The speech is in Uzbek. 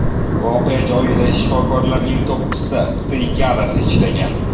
Voqea joyida shifokorlarning to‘qqizta brigadasi ishlagan.